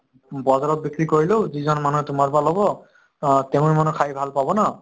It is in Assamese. বজাৰত বিক্ৰী কৰিলো যিজন মানুহে তোমাৰ পৰা ল'ব অ তেঁৱো মানে খাই ভাল পাব ন